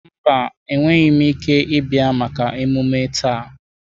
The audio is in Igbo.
Mba, enweghị m ike ịbịa maka emume taa.